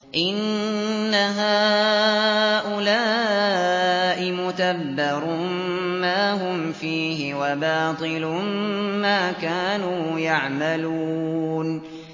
إِنَّ هَٰؤُلَاءِ مُتَبَّرٌ مَّا هُمْ فِيهِ وَبَاطِلٌ مَّا كَانُوا يَعْمَلُونَ